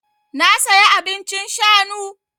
Na saya abincin shanu.